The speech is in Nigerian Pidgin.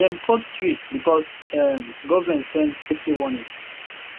dem cut tree because um government send safety warning